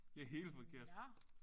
Det helt forkert